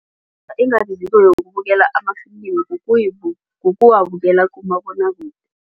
Engabiziko yokubukela amafilimi kukuwabukela kumabonwakude.